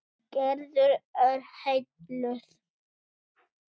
Gerður er heilluð.